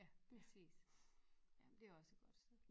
Ja præcis jamen det er også et godt sted